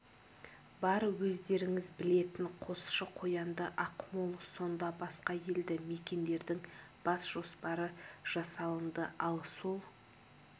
бар өздеріңіз білетін қосшы қоянды ақмол сонда басқа елді мекендердің бас жоспары жасалынды ал сол